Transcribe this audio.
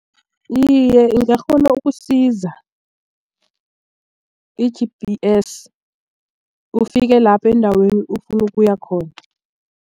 Iye, ingakghona ukusiza i-G_P_S ufike lapho endaweni ofuna ukuya khona.